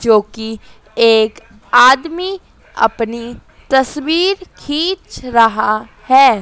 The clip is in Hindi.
जो की एक आदमी अपनी तस्वीर खींच रहा है।